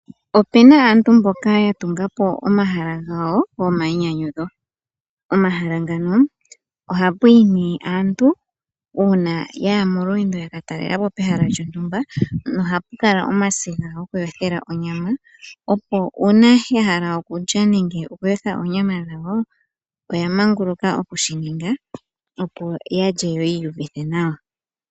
Opuna aantu mboka ya tunga po omahala gawo gomainyanyudho. Omahala ngano ohapu yi nee aantu, uuna yaya molweendo yaka talela po pehala lyontumba nohapu kala omasiga goku yothela onyama, opo uuna ya hala okulya nenge oku yotha oonyama dhawo oya manguluka oku shi ninga, opo yalye, yo yi uuvithe nawa.